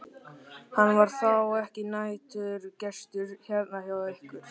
Hann er þá ekki næturgestur hérna hjá ykkur?